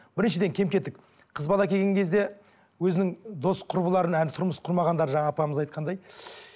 біріншіден кем кетік қыз бала келген кезде өзінің дос құрбыларын әлі тұрмыс құрмағандар жаңа апамыз айтқандай